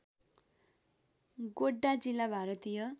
गोड्डा जिल्ला भारतीय